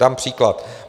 Dám příklad.